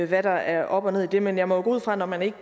hvad der er op og ned i det men jeg må jo gå ud fra at når man ikke